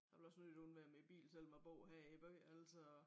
Jeg vil også nødigt undvære min bil selvom jeg bor her i æ by altså